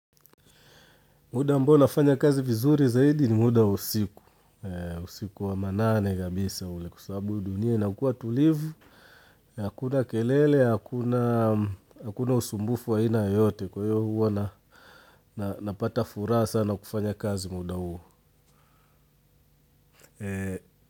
Muda ambao nafanya kazi vizuri zaidi ni muda usiku, usiku wa manane kabisa ule kwa sababu dunia inakua tulivu, hakuna kelele, hakuna usumbufu wa aina yote kwa hiyo huwa napata furaha sana kufanya kazi muda huo.